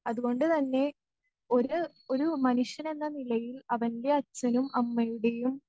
അതുകൊണ്ടുതന്നെ ഒര് ഒരു മനുഷ്യനെന്നനിലയിൽ അവൻ്റെ അച്ഛനും അമ്മയുടെയും